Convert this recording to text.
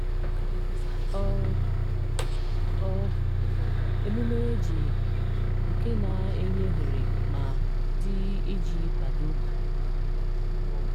Ọ Ọ émụmé e ji nke na-enye ohere ma di iji kwado.